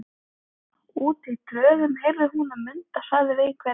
Úti í tröðum heyrði hún að Munda sagði við einhvern